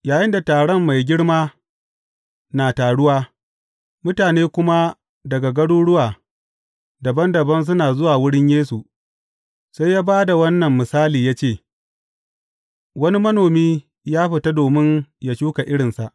Yayinda taron mai girma na taruwa, mutane kuma daga garuruwa dabam dabam suna zuwa wurin Yesu, sai ya ba da wannan misali ya ce, Wani manomi ya fita domin ya shuka irinsa.